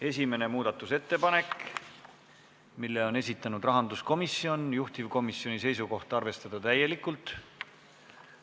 Esimene muudatusettepanek, mille on esitanud rahanduskomisjon, juhtivkomisjoni seisukoht: arvestada täielikult.